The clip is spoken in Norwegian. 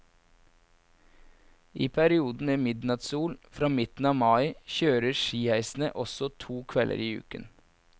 I perioden med midnattssol, fra midten av mai, kjøres skiheisene også to kvelder i uken.